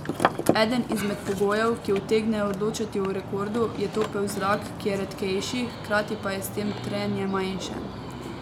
Eden izmed pogojev, ki utegnejo odločati o rekordu, je topel zrak, ki je redkejši, hkrati pa je s tem trenje manjše.